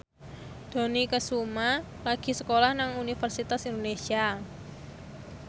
Dony Kesuma lagi sekolah nang Universitas Indonesia